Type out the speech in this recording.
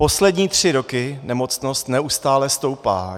Poslední tři roky nemocnost neustále stoupá.